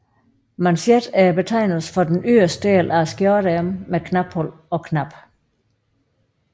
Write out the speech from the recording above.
Manchet er betegnelsen for den yderste del af skjorteærmet med knaphul og knap